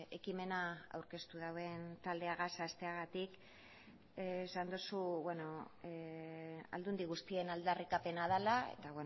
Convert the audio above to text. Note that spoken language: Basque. ekimena aurkeztu duen taldeagaz hasteagatik esan duzu aldundi guztien aldarrikapena dela eta